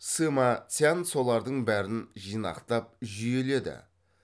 сыма цянь солардың бәрін жинақтап жүйеледі